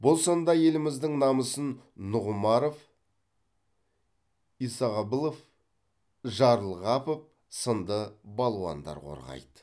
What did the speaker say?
бұл сында еліміздің намысын нұғымаров исағабылов жарылғапов сынды балуандар қорғайды